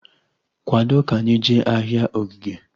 Kwado ka anyị jee ahịa Ogige!